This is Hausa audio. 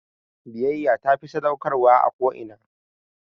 Biyayya tafi sadaukarwa a ko'ina